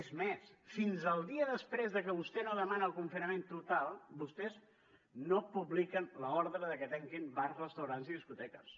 és més fins al dia després de que vostè no demana el confinament total vostès no publiquen l’ordre de que tanquin bars restaurants i discoteques